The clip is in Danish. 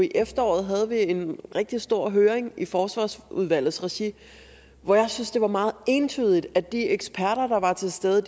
i efteråret havde en rigtig stor høring i forsvarsudvalgets regi hvor jeg synes det var meget entydigt at de eksperter der var til stede